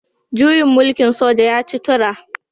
Juyin mulkin soja ya ci tura